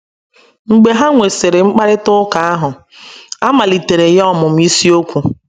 Mgbe ha nwesịrị mkparịta ụka ahụ, a maliteere ya ọmụmụ ịsiokwu